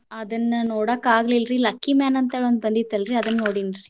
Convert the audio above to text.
ಅದನ್ನ ನೋಡಾಕ್ ಆಗ್ಲಿಲ್ರಿ lucky man ಅಂತ ಒಂದ್ ಬಂದಿತ್ತಲ್ಲರಿ ಅದನ್ನ ನೋಡಿನ್ರಿ.